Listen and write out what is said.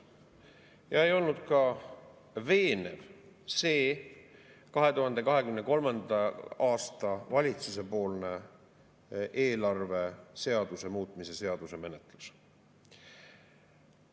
Ja ei olnud ka veenev see valitsusepoolne 2023. aasta eelarve seaduse muutmise seaduse menetlus.